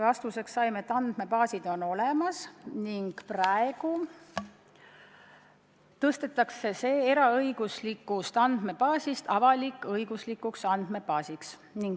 Vastuseks saime, et andmebaas on olemas ning praegu tõstetakse seda ringi, muutes selle eraõiguslikust andmebaasist avalik-õiguslikuks andmebaasiks.